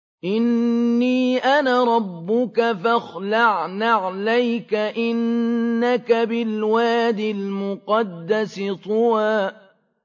إِنِّي أَنَا رَبُّكَ فَاخْلَعْ نَعْلَيْكَ ۖ إِنَّكَ بِالْوَادِ الْمُقَدَّسِ طُوًى